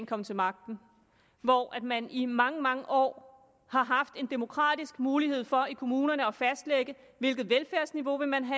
kom til magten hvor man i mange mange år har haft en demokratisk mulighed for i kommunerne at fastlægge hvilket velfærdsniveau man